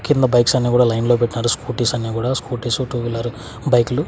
కింద బైక్సన్నీ కూడా లైన్లో పెట్నారు స్కూటీస్ అన్ని కూడా స్కూటీసు టూ వీలరు బైక్ లు .